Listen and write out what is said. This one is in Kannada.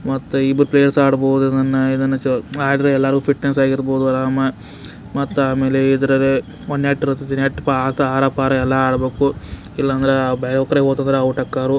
ಮತ್ತೆ ಇಬ್ರೂ ಪ್ಲೇಯರ್ಸ್ ಆಡಬಹುದು ಇದನ್ನ ಮತ್ತೆ ಮಾಡಿದ್ರೆ ಎಲ್ಲರೂ ಫಿಟ್ನೆಸ್ ಆಗಿ ಇರಬಹುದು ಆರಾಮ ಮತ್ತೆ ಆಮೇಲೆ ಇದ್ರಾಗೆ ಒಂದೇ ಪ ನೆಟ್ ಇರತೇತಿ ನೆಟ್ ಆಸಪಸ ಅರಾ ಪಾರ ಎಲ್ಲಾ ಆಡಬೇಕು ಇಲ್ಲಾಂದ್ರೆ ಬೇರೆ ಕಡೆ ಹೋಗಿದ್ರೆ ಹುಟ್ಟೋ ಕಾರು --